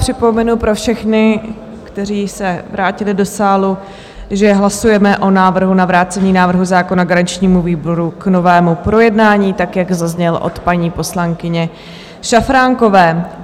Připomenu pro všechny, kteří se vrátili do sálu, že hlasujeme o návrhu na vrácení návrhu zákona garančnímu výboru k novému projednání, tak jak zazněl od paní poslankyně Šafránkové.